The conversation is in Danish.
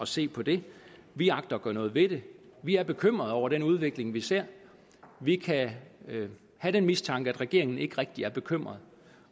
se på det vi agter at gøre noget ved det vi er bekymrede over den udvikling vi ser vi kan have den mistanke at regeringen ikke rigtig er bekymret